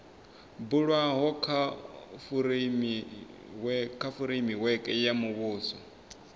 bulwaho kha fureimiweke ya muvhuso